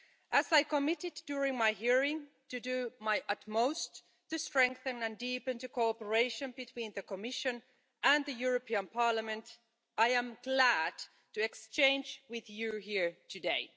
As I committed during my hearing to do my utmost to strengthen and deepen the cooperation between the Commission and the European Parliament, I am glad to exchange with you here today.